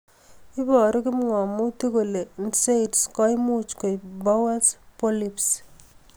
Iparu kipngamutik kole nsaids koimuch koip bowel polyps